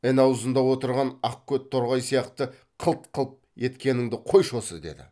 ін аузында отырған ақкөт торғай сияқты қылт қылт еткеніңді қойшы осы деді